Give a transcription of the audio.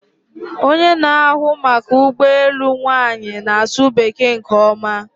Onye na-ahụ maka ụgbọ elu nwanyị na-asụ Bekee nke ọma